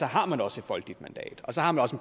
har man også et folkeligt mandat og så har man også